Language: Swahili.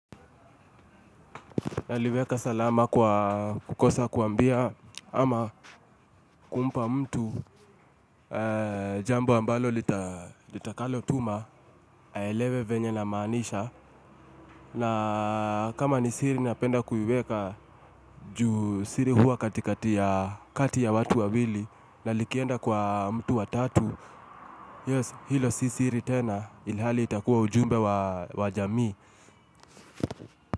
Naliweka salama kwa kukosa kuambia ama kumpa mtu jambo ambalo litakalotuma aelewe vyenye namaanisha na kama ni siri napenda kuiweka juu siri huwa katikati ya kati ya watu wawili na likienda kwa mtu wa tatu hiyo hilo si siri tena ilhali itakuwa ujumbe wa jamii.